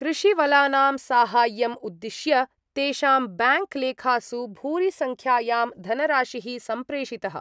कृषीवलानां साहाय्यम् उद्दिश्य तेषां ब्याङ्क् लेखासु भूरिसंख्यायां धनराशिः सम्प्रेषितः।